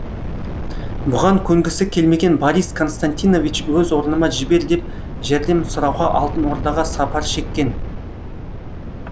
бұған көнгісі келмеген борис константинович өз орныма жібер деп жәрдем сұрауға алтын ордаға сапар шеккен